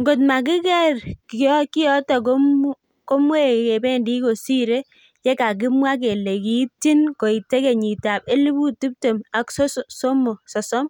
ngot kamakiker kiyoto komwye kebendi kosire yekikakimwa kele kiitchin koite kenyitab elipuut tiptem ak sosom